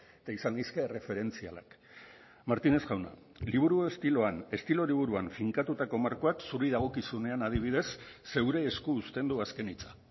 eta izan leizke erreferentzialak martínez jauna estilo liburuan finkatutako markoak zuri dagokizunean adibidez zure esku uzten du azken hitza